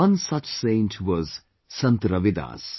One such Saint was Sant Ravidas